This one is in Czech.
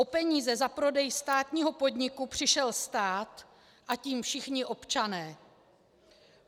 O peníze za prodej státního podniku přišel stát, a tím všichni občané.